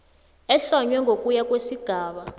ehlonywe ngokuya kwesigaba